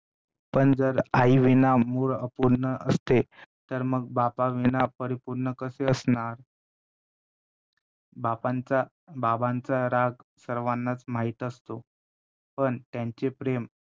पण जर आईविना मूल अपूर्ण असते तर मग बापाविना परिपूर्ण कसे असणार? बापांचा~ बाबांचा राग सर्वांचा माहित असतो पण त्यांचे प्रेम